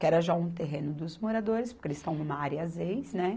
Que era já um terreno dos moradores, porque eles estão numa área zeis, né?